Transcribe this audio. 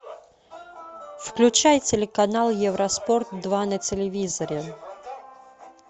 включай телеканал евроспорт два на телевизоре